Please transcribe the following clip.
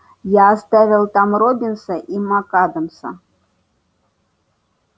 я оставил там роббинса и мак-адамса